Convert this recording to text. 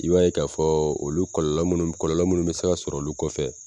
I b'a ye k'a fɔ olu kɔlɔlɔ mun kɔlɔlɔ minnu mi se sɔrɔ olu kɔfɛ